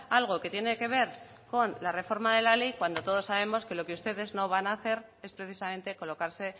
algo que tiene que ver con la reforma de la ley cuando todos sabemos que lo que ustedes no van a hacer es precisamente colocarse